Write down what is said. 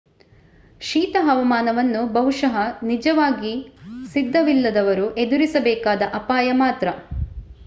ಶೀತ ಹವಾಮಾನವನ್ನು ಬಹುಶಃ ನಿಜವಾಗಿ ಸಿದ್ಧವಿಲ್ಲದವರು ಎದುರಿಸಬೇಕಾದ ಅಪಾಯ ಮಾತ್ರ